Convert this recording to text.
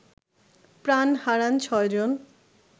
প্রাণ হারান ৬ জন